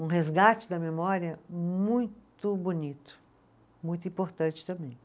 Um resgate da memória muito bonito, muito importante também.